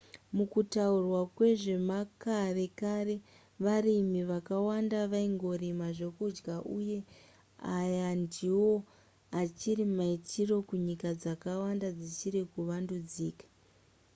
mukutaurwa kwezvemakare kare varimi vakawanda vaingorima zvekudya uyezve aya ndiwo achiri maitiro kunyika dzakawanda dzichiri kuvandudzika